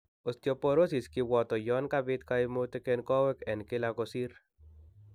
Osteporosis kibwato yon kabit kaimutik en kowek en kila kosir